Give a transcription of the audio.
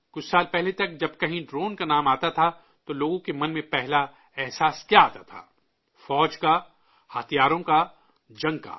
کچھ سال پہلے تک جب کہیں ڈرون کا نام آتا تھا، تو لوگوں کے من میں پہلا خیال کیا آتا تھا؟ فوج کا، ہتھیاروں کا، جنگ کا